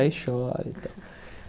Aí chora.